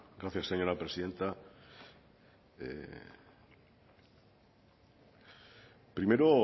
gracias señora presidenta primero